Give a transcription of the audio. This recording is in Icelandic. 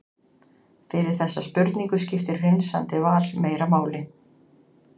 fyrir þessa spurningu skiptir hreinsandi val meira máli